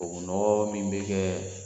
O nɔɔrɔ min bɛ kɛ